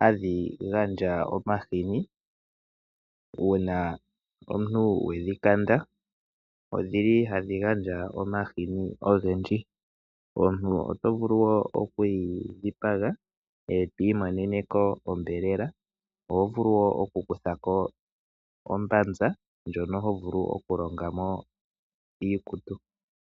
hadhigandja omahini uuna omuntu wedhikanda, odhili hadhigandja omahini ogendji. Omuntu oto vulu wo okuyidhipaga etwimonene ko ombelela ohovulu wo okukutha ko ombanza ndjono hovulu okulongamo iikutu.